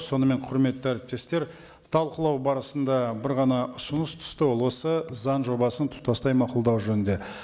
сонымен құрметті әріптестер талқылау барысында бір ғана ұсыныс түсті ол осы заң жобасын тұтастай мақұлдау жөнінде